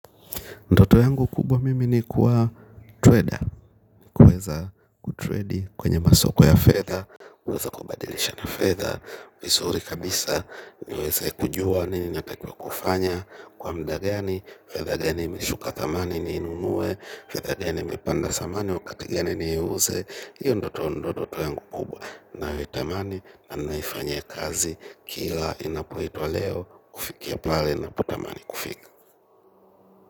Ndoto yangu kubwa mimi ni kuwa trader kuweza kutredi kwenye masoko ya fedha. Uweza kubadilisha na fedha vizuri kabisa niweze kujua nini natakwa kufanya. Kwa muda gani fedha gani imeshuka thamani ninunue, fedha gani imepanda samani wakati gani ni huuze. Iyo ndoto ndoto yangu kubwa na wei tamani na naifanya kazi. Kila inapoitwa leo kufikia pale napata manikufiki.